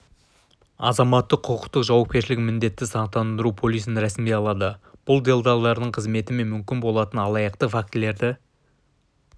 азаматтық-құқықтық жауапкершілігін міндетті сақтандыру полисін рәсімдей алады бұл делдалдардың қызметі мен мүмкін болатын алаяқтық фактілерді